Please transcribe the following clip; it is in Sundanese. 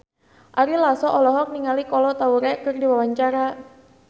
Ari Lasso olohok ningali Kolo Taure keur diwawancara